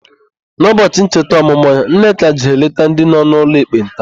N'ụbọchị ncheta ọmụmụ ya, Nneka jere leta ndị nọ n'ụlọ ekpenta.